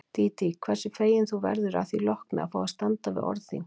Dídí, hversu fegin þú verður því að lokum að fá að standa við orð þín.